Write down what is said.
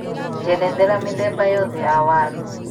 njerethera mĩthemba yothe ya waru